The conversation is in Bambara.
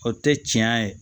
O tɛ tiɲɛ ye